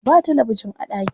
Ba talabijin a ɗakin.